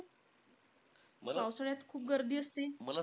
पावसाळ्यात खूप गर्दी असते.